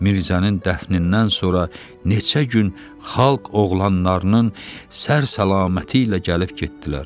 Mirzənin dəfnindən sonra neçə gün xalq oğlanlarının sər-salaməti ilə gəlib getdilər.